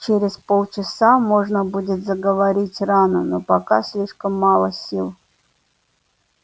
через полчаса можно будет заговорить рану но пока слишком мало сил